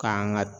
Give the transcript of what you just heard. K'an ka